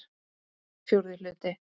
Fjórði hluti